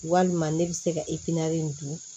Walima ne bɛ se ka in dun